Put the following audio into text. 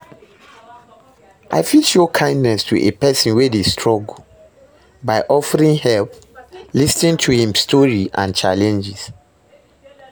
I fit show kindness to a pesin wey struggle by offering help, lis ten to im strory and challenges.